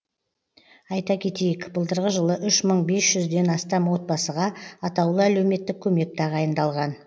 айта кетейік былтырғы жылы үш мың бес жүзден астам отбасыға атаулы әлеуметтік көмек тағайындалған